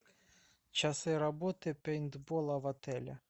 часы работы пейнтбола в отеле